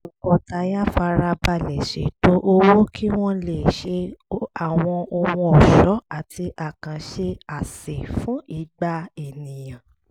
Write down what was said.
tọkọtaya fara balẹ̀ ṣètò owó kí wọ́n lè ṣe àwọn ohun ọ̀ṣọ́ àti àkànṣe àsè fún igba èèyàn